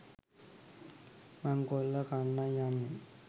මංකොල්ල කන්නයි යන්නෙ.